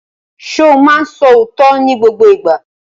Ṣo máa ń sọ òótọ́ ní gbogbo ìgbà?